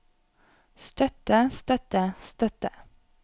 støtte støtte støtte